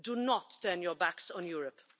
Do not turn your backs on Europe.